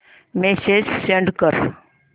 message send कर